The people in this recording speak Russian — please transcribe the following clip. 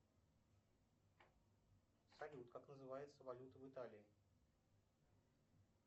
салют как называется валюта в италии